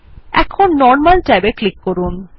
এখন normal tab এ click করুন